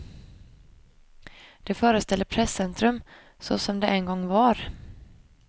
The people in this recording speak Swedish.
Det föreställer presscentrum, så som det en gång var.